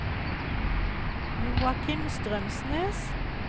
Joachim Strømsnes